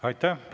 Aitäh!